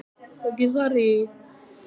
Santía, hvað er í dagatalinu mínu í dag?